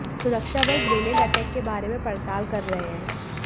सुरक्षाबल grenade attack के बारे में पड़ताल कर रहे हैं